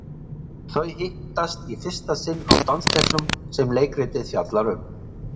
Þau hittast í fyrsta sinn á dansleiknum sem leikritið fjallar um.